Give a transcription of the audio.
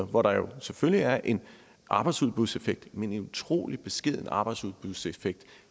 hvor der selvfølgelig er en arbejdsudbudseffekt men en utrolig beskeden arbejdsudbudseffekt